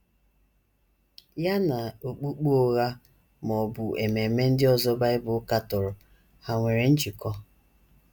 Ya na okpukpe ụgha ma ọ bụ ememe ndị ọzọ Bible katọrọ hà nwere njikọ?